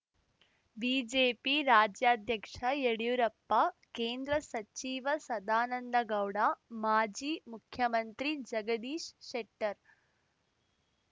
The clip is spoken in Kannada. ಬಿಜೆಪಿ ರಾಜ್ಯಾಧ್ಯಕ್ಷ ಯಡಿಯೂರಪ್ಪ ಕೇಂದ್ರ ಸಚಿವ ಸದಾನಂದಗೌಡ ಮಾಜಿ ಮುಖ್ಯಮಂತ್ರಿ ಜಗದೀಶ್ ಶೆಟ್ಟರ್